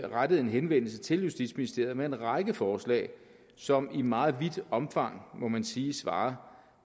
rettede en henvendelse til justitsministeriet med en række forslag som i meget vidt omfang må man sige svarer